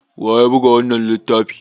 waye ya buga wannan littafi?